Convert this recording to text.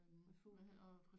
Refugiet